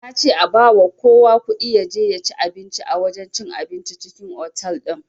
Nace a bawa kowa kuɗi yaje yaci abinci a wajen cin abincin cikin otal din